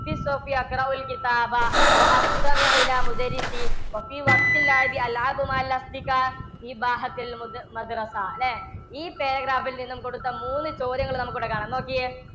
അല്ലേ ഈ paragraph ൽ നിന്നും കൊടുത്ത മൂന്ന് ചോദ്യങ്ങൾ നമുക്കിവിടെ കാണാം, നോക്കിയേ